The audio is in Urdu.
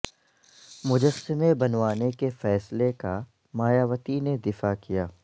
مجسمے بنوانے کے فیصلے کا مایاوتی نے دفاع کیا